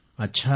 अच्छा